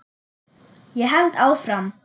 Ég held áfram.